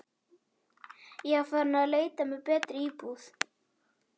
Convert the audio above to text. Ég var farin að leita mér að betri íbúð.